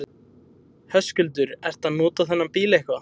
Höskuldur: Ertu að nota þennan bíl eitthvað?